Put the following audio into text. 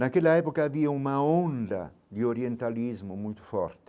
Naquela época, havia uma onda de orientalismo muito forte.